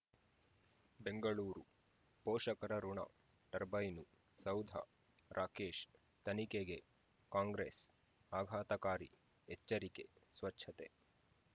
ಬೆಂಗಳೂರು ಪೋಷಕರಋಣ ಟರ್ಬೈನು ಸೌಧ ರಾಕೇಶ್ ತನಿಖೆಗೆ ಕಾಂಗ್ರೆಸ್ ಆಘಾತಕಾರಿ ಎಚ್ಚರಿಕೆ ಸ್ವಚ್ಛತೆ